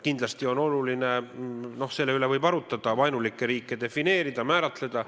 Kindlasti on oluline – no selle üle võib arutleda – vaenulikke riike defineerida, neid määratleda.